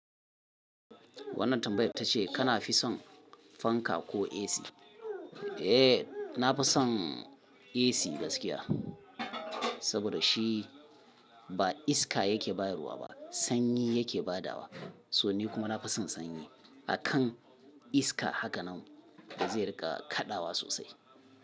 Wannan tambayar ta ce kana fi son fanka ko AC? Eh, na fi son AC gaskiya. Saboda shi ba iska yake bayarwa ba, sanyi yake badawa. So ni kuma na fi son sanyi. Akan iska haka nan da zai rika kaɗawa sosai.